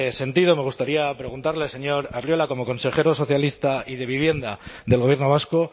sentido me gustaría preguntarle al señor arriola como consejero socialista y de vivienda del gobierno vasco